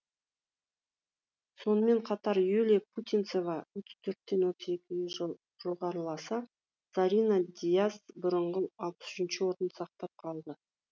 сонымен қатар юлия путинцева отыз төрттен отыз екіге жоғарыласа зарина дияс бұрынғы алпыс үшінші орнын сақтап қалды